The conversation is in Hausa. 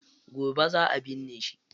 Gobe za a binne shi.